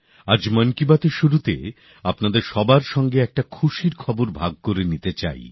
আজ মন কি বাতএর শুরুতে আপনাদের সবার সঙ্গে একটা খুশির খবর ভাগ করে নিতে চাই